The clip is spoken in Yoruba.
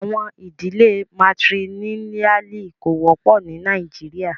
Àwọn idílẹ̀ Matrilineali kò wọpọ ní Nàìjíríà.